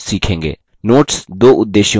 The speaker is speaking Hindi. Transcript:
notes दो उद्देश्यों के लिए प्रयुक्त होता है